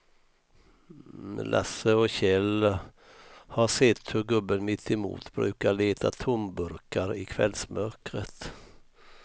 Lasse och Kjell har sett hur gubben mittemot brukar leta tomburkar i kvällsmörkret.